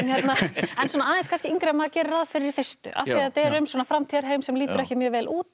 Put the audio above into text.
en svona aðeins yngri en maður gerir ráð fyrir í fyrstu af því þetta er um svona framtíðarheim sem lítur ekki mjög vel út